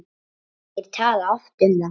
Þeir tala oft um það.